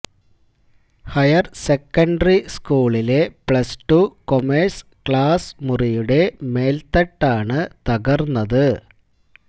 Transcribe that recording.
higher secondary സ്കൂളിലെ plus two commerce class മുറിയുടെ മേല്ത്തട്ടാണ് തകര്ന്നത്